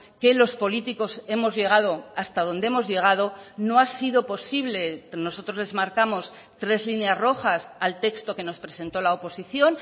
que los políticos hemos llegado hasta donde hemos llegado no ha sido posible nosotros les marcamos tres líneas rojas al texto que nos presentó la oposición